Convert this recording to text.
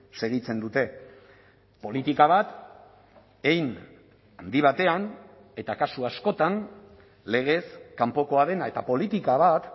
segitzen dute politika bat hein handi batean eta kasu askotan legez kanpokoa dena eta politika bat